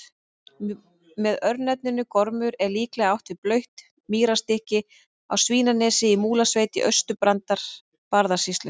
Með örnefninu Gormur er líklega átt við blautt mýrarstykki á Svínanesi í Múlasveit í Austur-Barðastrandarsýslu.